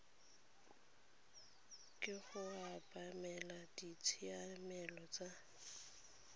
ke go obamela ditshiamelo tsa